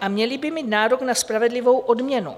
a měli by mít nárok na spravedlivou odměnu.